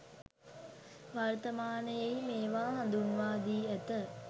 වර්තමානයෙහි මේවා හඳුන්වා දී ඇත.